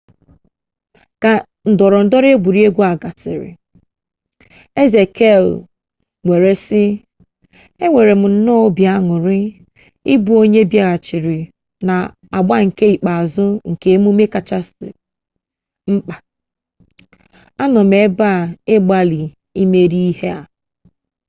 ka ndọrọ ndọrọ egwuregwu gasịrị eze kle were sị enwerem nnọọ obi añurị ịbụ onye bịaghachiri na agba nke ikpeazụ nke mmemme ndị kacha mkpa a nọ m ebe a ịgbalị imeri ihe a